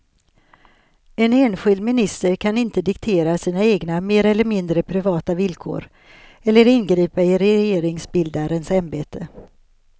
En enskild minister kan inte diktera sina egna mer eller mindre privata villkor eller ingripa i regeringsbildarens ämbete.